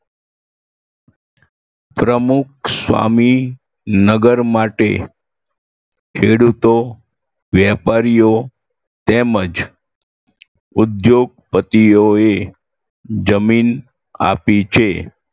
પ્રમુખસ્વામી નગર માટે ખેડૂતો વેપારીઓ તેમજ ઉદ્યોગપતિઓએ જમીન આપી છે